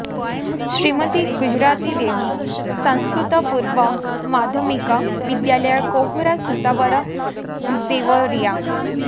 श्रीमती गुजराती देबी संस्कृतपूर्व माध्यमिक विद्यालय कोहरा सुतावर देवरिया